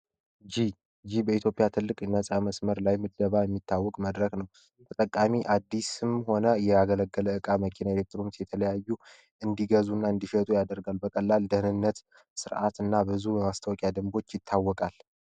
በኢትዮጵያ ትልቅ ነፃ መስመር ላይ የሚታወቅ መድረክ ነው እጠቃሚ አዲስ ስም ሆነ የአገለገለ እቃ መኪና የተለያዩ እንዲገዙና እንዲሸጡ ያደርጋል በቀላል ደህንነት ስርዓት እና ብዙ ማስታወቂያ ደንቦች ይታወቃል